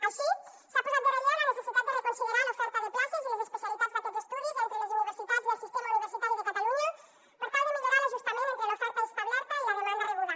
així s’ha posat en relleu la necessitat de reconsiderar l’oferta de places i les especialitats d’aquests estudis entre les universitats del sistema universitari de catalunya per tal de millorar l’ajustament entre l’oferta establerta i la demanda rebuda